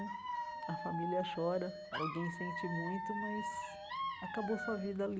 Né a família chora, alguém sente muito, mas acabou sua vida ali.